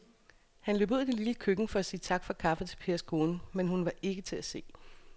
Han løb ud i det lille køkken for at sige tak for kaffe til Pers kone, men hun var ikke til at se.